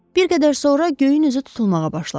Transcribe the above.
Bir qədər sonra göyün üzü tutulmağa başladı.